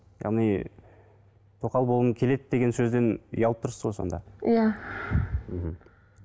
яғни тоқал болғым келеді деген сөзден ұялып тұрсыз ғой сонда иә